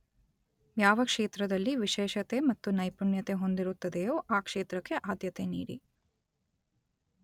ಯಾವ ಕ್ಷೇತ್ರದಲ್ಲಿ ವಿಶೇಷತೆ ಮತ್ತು ನೈಪುಣ್ಯತೆ ಹೊಂದಿರುತ್ತದೆಯೋ ಆ ಕ್ಷೇತ್ರಕ್ಕೆ ಆದ್ಯತೆ ನೀಡಿ